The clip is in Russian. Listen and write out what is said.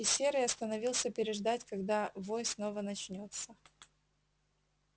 и серый остановился переждать когда вой снова начнётся